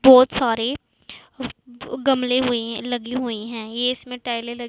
बहोत सारे गमले हुए लगे हुए हैं इसमें टाइले ल--